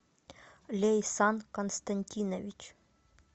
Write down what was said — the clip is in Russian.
лейсан константинович